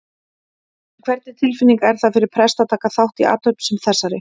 En hvernig tilfinning er það fyrir prest að taka þátt í athöfn sem þessari?